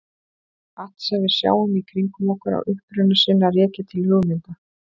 Allt sem við sjáum í kringum okkur á uppruna sinn að rekja til hugmynda.